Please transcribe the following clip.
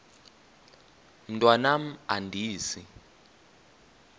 mntwan am andizi